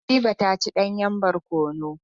Habiba ta ci danyen barkono.